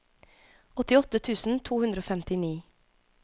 åttiåtte tusen to hundre og femtini